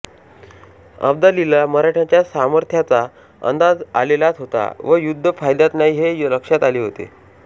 अब्दालीला मराठ्याच्या सामर्थ्याचा अंदाज आलेलाच होता व युद्ध फायद्यात नाही हे लक्षात आले होते